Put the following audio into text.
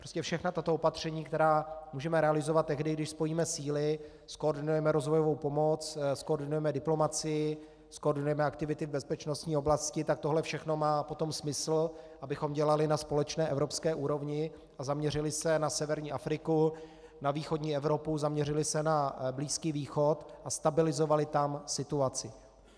Prostě všechna tato opatření, která můžeme realizovat tehdy, když spojíme síly, zkoordinujeme rozvojovou pomoc, zkoordinujeme diplomacii, zkoordinujeme aktivity v bezpečnostní oblasti, tak tohle všechno má potom smysl, abychom dělali na společné evropské úrovni a zaměřili se na severní Afriku, na východní Evropu, zaměřili se na Blízký východ a stabilizovali tam situaci.